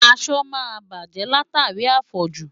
Aṣọ máa bàjẹ́ látàrí àfọ̀jù.